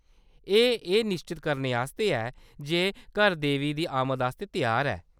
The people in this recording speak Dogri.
एह्‌‌ एह् निश्चत करने आस्तै ऐ जे घर देवी दी आमद आस्तै त्यार ऐ।